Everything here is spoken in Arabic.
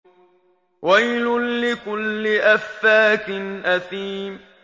وَيْلٌ لِّكُلِّ أَفَّاكٍ أَثِيمٍ